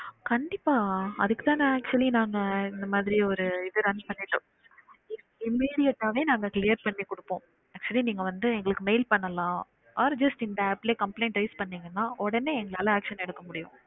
கண்டிப்பா அதுக்கு தான் நா actually நாங்க இந்த மாதிரி ஒரு இது run பண்ணிட்டோம் immediate ஆவே நாங்க clear பண்ணி குடுப்போம் actually நீங்க வந்து எங்களுக்கு mail பண்ணலாம் or just இந்த app லே complaint raise பண்ணிங்கனா உடனே எங்களால action எடுக்க முடியும்